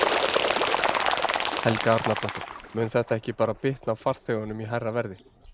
Helga Arnardóttir: Mun þetta ekki bara bitna á farþegunum í hærra verði?